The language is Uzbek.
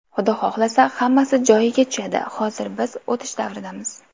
Xudo xohlasa, hammasi joyiga tushadi, hozir biz o‘tish davridamiz.